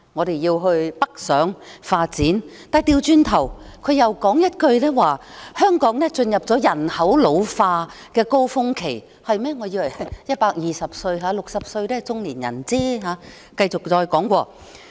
她要青年人北上發展，但轉頭又說一句，香港進入了人口老化高峰期——我以為120歲才是老年人 ，60 歲只是中年人。